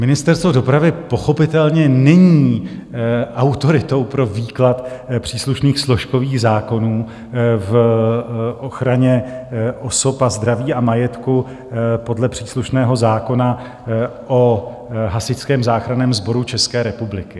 Ministerstvo dopravy pochopitelně není autoritou pro výklad příslušných složkových zákonů v ochraně osob, zdraví a majetku podle příslušného zákona o Hasičském záchranném sboru České republiky.